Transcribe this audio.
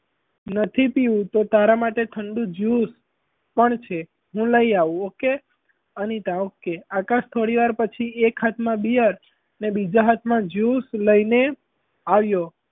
નથી પીવું તો તારા માટે ઠંડુ juice પણ છે હું લઈ આવું okay અનિતા okay આકાશ થોડીવાર પછી એક હાથમાં beer અને બીજા હાથમાં juice લઈને આવ્યો.